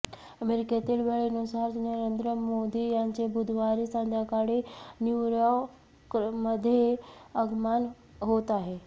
अमेरिकेतील वेळेनुसार नरेंद्र मोदी यांचे बुधवारी संध्याकाळी न्यूयॉर्कमध्ये आगमन होत आहे